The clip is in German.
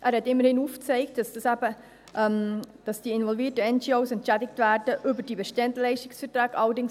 Er hat immerhin aufgezeigt, dass die involvierten NGOs über die bestehenden Leistungsverträge entschädigt werden.